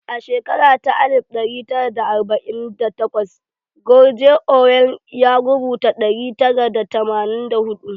A shekara ta alif ɗari tara da arba'in da takwas George Orwell ya rubuta ɗari tara da tamanin da huɗu